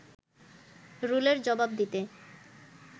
রুলের জবাব দিতে